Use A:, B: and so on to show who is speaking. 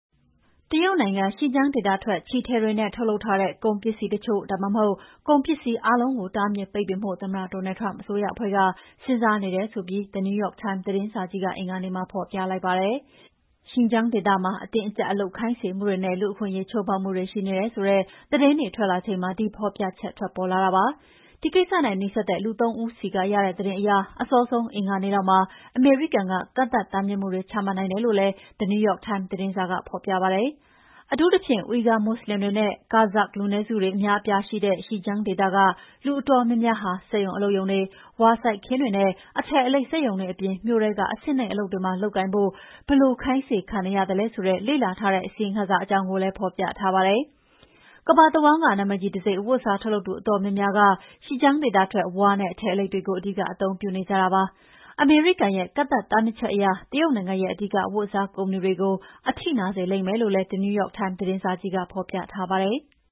A: တရုတ်နိုင်ငံ Xinjiang ဒေသထွက် ချည်ထည်တွေနဲ့ ထုတ်လုပ်ထားတဲ့ ကုန်ပစ္စည်းတချို့ ဒါမှအဟုတ် ကုန်ပစ္စည်းအားလုံးကို တားမြစ်ပိတ်ပင်ဖို့ သမ္မတ Donald Trump အစိုးရအဖွဲ့က စဉ်းစားနေတယ်ဆိုပြီး The New York Times သတင်းစာကြီးက အင်္ဂါနေ့မှာဖော်ပြလိုက်ပါတယ်။ Xinjiang ဒေသမှာ အတင်းအကြပ်အလုပ်ခိုင်းစေမှုတွေနဲ့ လူ့အခွင့်အရေး ချိုးဖောက်မှုတွေရှိနေတယ်ဆိုတဲ့ သတင်းတွေထွက်လာချိန်မှာ ဒီဖော်ပြချက်ထွက်ပေါ်လာတာပါ။ ဒီကိစ္စနဲ့ နီးစပ်တဲ့ လူ သုံး ဦးဆီက ရတဲ့သတင်းအရ အစောဆုံး အင်္ဂါနေ့လောက်မှာ အမေရိကန်က ကန့်သတ်မှုတွေ ချမှတ်နိုင်တယ်လို့လည်း The New York Times သတင်းစာက ဖော်ပြပါတယ်။ အထူးသဖြင့် Uighur မွတ်ဆလင်တွေနဲ့ Kazakh လူနည်းစုတွေ အများအပြားရှိတဲ့ Xinjiang ဒေသက လူအတော်များများဟာ စက်ရုံအလုပ်ရုံတွေ၊ ဝါစိုက်ခင်းတွေနဲ့ အထည်အလိပ် စက်ရုံတွေအပြင် မြို့ထဲက အဆင့်နိမ့်အလုပ်တွေမှာ လုပ်ကိုင်ဖို့ ဘယ်လို ခိုင်းစေခံနေရသလဲဆိုတာ လေ့လာထားတဲ့ အစီရင်ခံစာအကြောင်းကိုလည်း ဖော်ပြထားပါတယ်။ ကမ္ဘာတဝန်းက နာမည်ကြီးတံဆိပ် အဝတ်အစား ထုတ်လုပ်သူအတော်များများက Xinjiang ဒေသထွက် ဝါနဲ့ အထည်အလိပ်တွေကို အဓိက အသုံးပြုနေကြတာဖြစ်ပါတယ်။ အမေရိကန်ရဲ့ ကန့်သတ်တားမြစ်ချက်က တရုတ်နိုင်ငံရဲ့ အဓိက အဝတ်အစား ကုမ္ပဏီတွေကို အထိနာစေလိမ့်မယ်လို့လည်း The New York Times သတင်းစာကြီးမှာ ဖော်ပြထားပါတယ်။